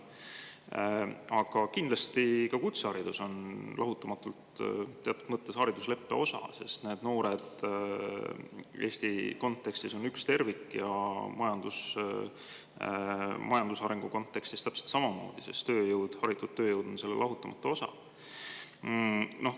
Aga kindlasti on ka kutseharidus teatud mõttes haridusleppe lahutamatu osa, sest need noored Eesti kontekstis on üks tervik ja majandusarengu kontekstis täpselt samamoodi, sest tööjõud, haritud tööjõud on selle lahutamatu osa.